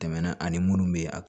Tɛmɛn ani munnu bɛ a